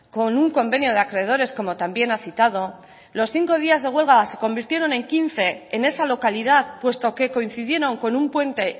con un convenio de acreedores como también ha citado los cinco días de huelga se convirtieron en quince en esa localidad puesto que coincidieron con un puente